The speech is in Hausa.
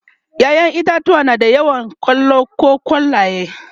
ƴaƴan itatauwa da yawa na da kwallo koh kwallaye